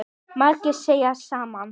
Margir segja það sama.